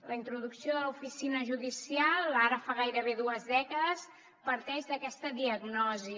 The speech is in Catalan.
la introducció de l’oficina judicial ara fa gairebé dues dècades parteix d’aquesta diagnosi